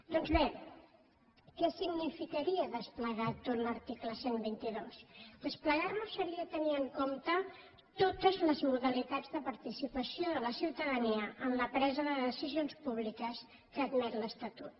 doncs bé què significaria desplegar tot l’article cent i vint dos desplegar lo seria tenir en compte totes les modalitats de participació de la ciutadania en la presa de decisions públiques que admet l’estatut